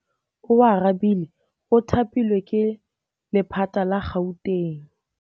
Oarabile o thapilwe ke lephata la Gauteng.